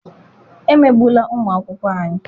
Emegbula ụmụ akwụkwọ anyị!